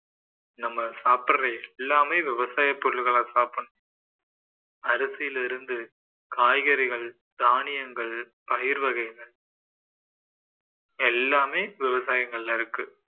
நம்ம சாப்பிடற எல்லாமே விவசாயப் பொருள்களை சாப்பிடணும் அரிசில இருந்து காய்கறிகள், தானியங்கள், பயிர் வகைகள் எல்லாமே விவசாயங்கள்ல இருக்கு